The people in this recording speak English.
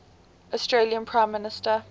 australian prime minister